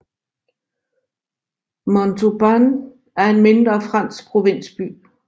Montauban er en mindre fransk provinsby